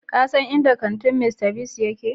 Ka san inda kantin Mr. Biggs yake?